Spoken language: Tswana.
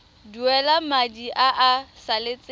duela madi a a salatseng